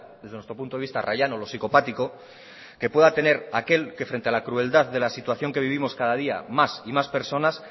desde nuestro punto de vista rayano lo psicopático que pueda tener aquel que frente a la crueldad de la situación que vivimos cada día más y más personas